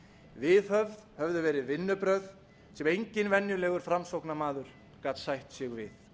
viðhöfð höfðu verið vinnubrögð sem enginn venjulegur framsóknarmaður gat sætt sig við